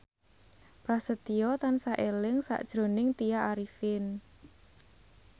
Prasetyo tansah eling sakjroning Tya Arifin